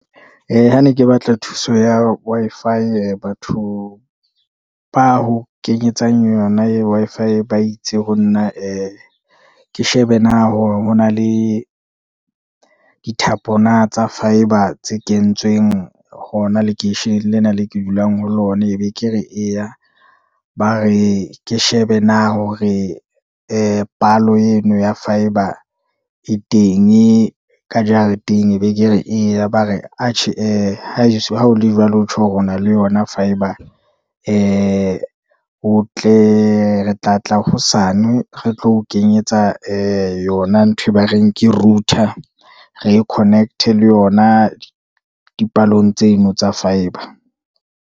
Ha ne ke batla thuso ya Wi-Fi batho ba ho kenyetsang yona, Wi-Fi ba itse ho nna ee ke shebe na hona le dithapo na tsa fibre, tse kentsweng hona lekeisheneng lena le ke dulang ho lona, e be ke re eya. Ba re ke shebe na hore palo eno ya fibre e tenge ka jareteng, e be ke re eya, ba re atjhe ee ha o le jwalo ho tjho hore o na le yona fibre, o tle ke tla tla hosane re tlo o kenyetsa yona ntho e ba reng ke router, re e connect-e le yona dipalong tseno tsa fibre.